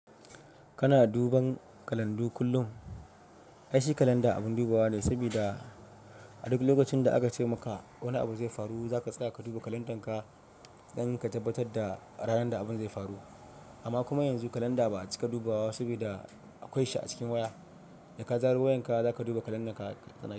Kana duban kalandu kullum? Aishi kalanda abun dubawa ne, sabida a duk lokacin da aka ce maka wani abu zai faru za ka tsaya ka duba kalandanka dan ka tabbatar da ranar da abun zai faru. Amma kuma yanzu kalanda ba a cika dubawa saboda akwai shi a cikin waya. Da ka zaro wayanka za ka duba kalandanka ka sanar.